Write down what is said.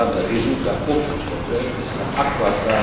Cela ne résoudra aucun problème et cela accroîtra